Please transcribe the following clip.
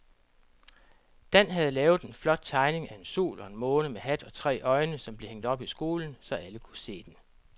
Dan havde lavet en flot tegning af en sol og en måne med hat og tre øjne, som blev hængt op i skolen, så alle kunne se den.